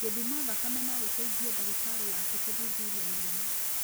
Gũthimo thakame no gũteithie dagĩtarĩ waku kũthuthuria mũrimũ.